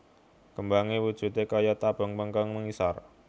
Kembangé wujudé kaya tabung mbengkong mengisor